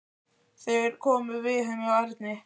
Þeir komu við heima hjá Erni.